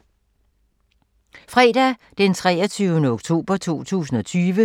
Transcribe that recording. Fredag d. 23. oktober 2020